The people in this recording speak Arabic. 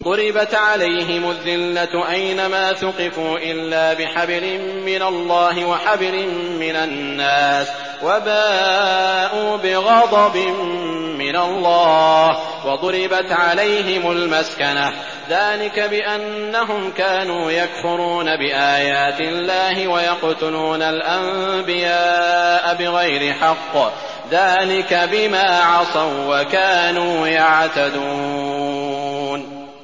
ضُرِبَتْ عَلَيْهِمُ الذِّلَّةُ أَيْنَ مَا ثُقِفُوا إِلَّا بِحَبْلٍ مِّنَ اللَّهِ وَحَبْلٍ مِّنَ النَّاسِ وَبَاءُوا بِغَضَبٍ مِّنَ اللَّهِ وَضُرِبَتْ عَلَيْهِمُ الْمَسْكَنَةُ ۚ ذَٰلِكَ بِأَنَّهُمْ كَانُوا يَكْفُرُونَ بِآيَاتِ اللَّهِ وَيَقْتُلُونَ الْأَنبِيَاءَ بِغَيْرِ حَقٍّ ۚ ذَٰلِكَ بِمَا عَصَوا وَّكَانُوا يَعْتَدُونَ